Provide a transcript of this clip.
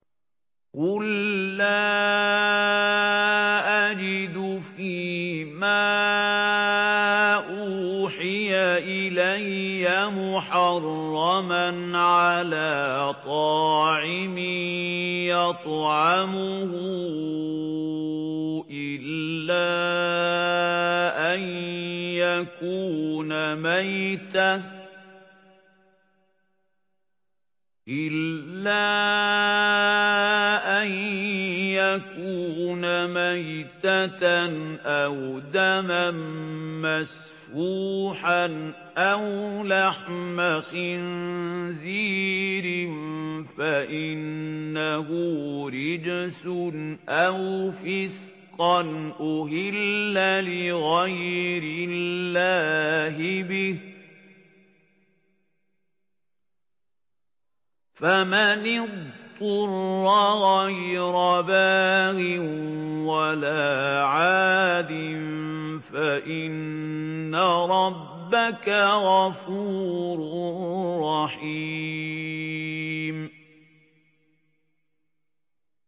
قُل لَّا أَجِدُ فِي مَا أُوحِيَ إِلَيَّ مُحَرَّمًا عَلَىٰ طَاعِمٍ يَطْعَمُهُ إِلَّا أَن يَكُونَ مَيْتَةً أَوْ دَمًا مَّسْفُوحًا أَوْ لَحْمَ خِنزِيرٍ فَإِنَّهُ رِجْسٌ أَوْ فِسْقًا أُهِلَّ لِغَيْرِ اللَّهِ بِهِ ۚ فَمَنِ اضْطُرَّ غَيْرَ بَاغٍ وَلَا عَادٍ فَإِنَّ رَبَّكَ غَفُورٌ رَّحِيمٌ